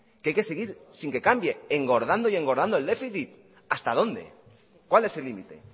que hay que seguir sin que cambie engordando y engordando el déficit hasta dónde cuál es el límite